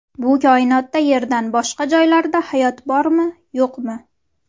Bu koinotda Yerda boshqa joylarda hayot bormi, yo‘qmi?.